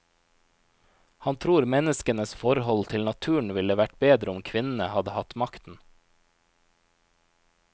Han tror menneskenes forhold til naturen ville vært bedre om kvinnene hadde hatt makten.